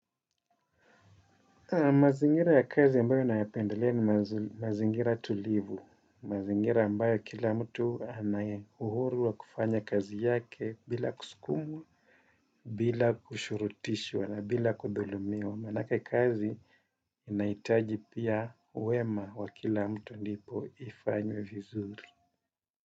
Mazingira ya kazi ambayo nayapendelea ni mazingira tulivu, mazingira ambayo kila mtu anahuru wa kufanya kazi yake bila kusukumwa, bila kushurutishwa na bila kudhulumiwa, maanake kazi inahitaji pia uwema wa kila mtu ndipo ifanywe vizuri.